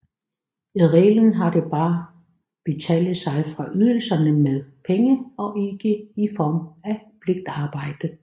I reglen har de bare betale sig fra ydelserne med penge og ikke i form af pligtarbejdet